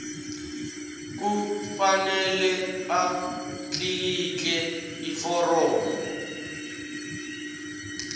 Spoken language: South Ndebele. kufanele atlikitle iforomo